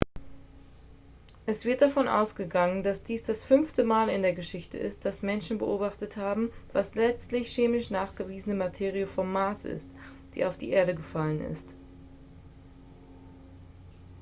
es wird davon ausgegangen dass dies das fünfte mal in der geschichte ist dass menschen beobachtet haben was letztlich chemisch nachgewiesene materie vom mars ist die auf die erde gefallen ist